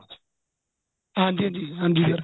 ਹਾਂਜੀ ਹਾਂਜੀ ਹਾਂਜੀ sir